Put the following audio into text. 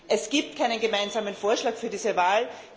Es gibt keinen gemeinsamen Vorschlag für diese Wahl.